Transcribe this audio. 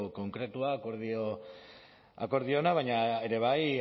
konkretua akordio ona baina ere bai